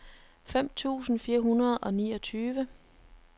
fem tusind fire hundrede og niogtyve